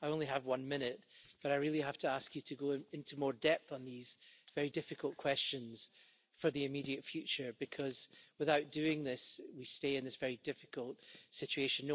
I only have one minute, but I really have to ask you to go into more depth on these very difficult questions for the immediate future, because without doing this, we stay in this very difficult situation.